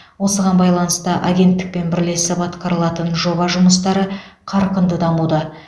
осыған байланысты агенттікпен бірлесіп атқарылатын жоба жұмыстары қарқынды дамуда